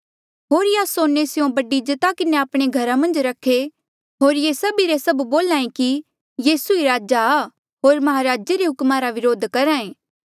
होर यासोने स्यों बड़ी इज्जता किन्हें आपणे घरा मन्झ रखे होर ये सभी रे सभ बोल्हा ऐें कि यीसू ही राजा आ होर महाराजे रे हुक्मा रा वरोध करहा ऐें